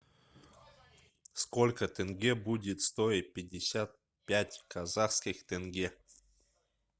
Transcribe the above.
сколько тенге будет стоить пятьдесят пять казахских тенге